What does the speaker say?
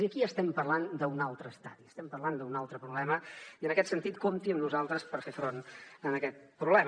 i aquí ja estem parlant d’un altre estadi estem parlant d’un altre problema i en aquest sentit compti amb nosaltres per fer front a aquest problema